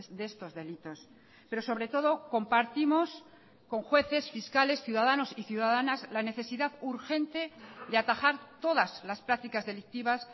de estos delitos pero sobre todo compartimos con jueces fiscales ciudadanos y ciudadanas la necesidad urgente de atajar todas las prácticas delictivas